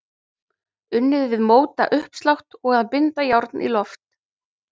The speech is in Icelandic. Unnið við mótauppslátt og að binda járn í loft.